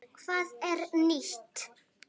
Hvað er nýtt?